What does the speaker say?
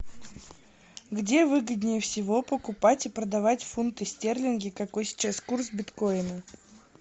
где выгоднее всего покупать и продавать фунты стерлинги какой сейчас курс биткоина